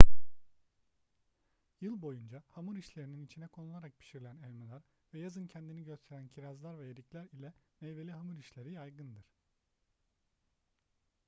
yıl boyunca hamur işlerinin içine konularak pişirilen elmalar ve yazın kendini gösteren kirazlar ve erikler ile meyveli hamur işleri yaygındır